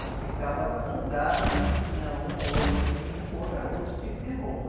E ficava zangada se tinha um ou outro que vinha com outra, outro tipo de roupa.